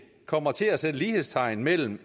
kommer til at sætte lighedstegn mellem